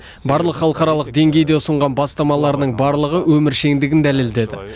барлық халықаралық деңгейде ұсынған бастамаларының барлығы өміршеңдігін дәлелденді